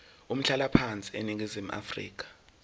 umhlalaphansi eningizimu afrika